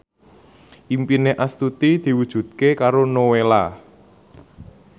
impine Astuti diwujudke karo Nowela